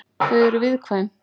Þau eru viðkvæm.